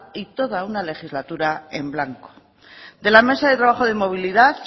y toda una legislatura en blanco de la mesa de trabajo de movilidad